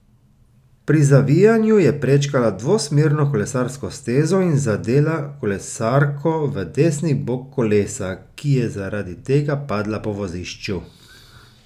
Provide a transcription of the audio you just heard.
Pri zavijanju je prečkala dvosmerno kolesarsko stezo in zadela kolesarko v desni bok kolesa, ki je zaradi tega padla po vozišču.